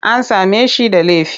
An same shi da laifi?